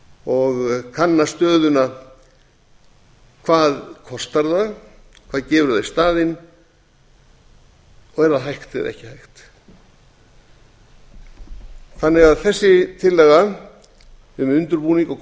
og kanna stöðuna hvað kostar það hvað gefur það í staðinn og er það hægt eða ekki hægt þessi tillaga um undirbúning og